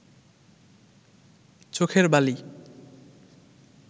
চোখের বালি